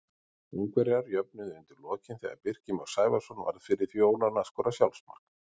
Ungverjar jöfnuðu undir lokin þegar Birkir Már Sævarsson varð fyrir því óláni að skora sjálfsmark.